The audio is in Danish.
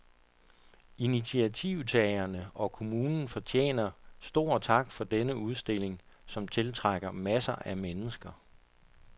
Initiativtagerne og kommunen fortjener stor tak for denne udstilling, som tiltrækker masser af mennesker.